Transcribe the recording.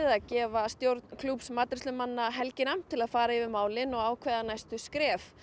að gefa stjórn klúbbs matreiðslumanna helgina til að fara yfir málin og ákveða næstu skref